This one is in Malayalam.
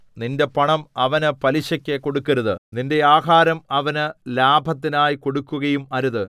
നിന്റെ പണം അവന് പലിശയ്ക്കു കൊടുക്കരുത് നിന്റെ ആഹാരം അവന് ലാഭത്തിനായി കൊടുക്കുകയും അരുത്